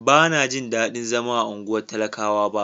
Ban na ji dadin zama a unguwan talakawa ba.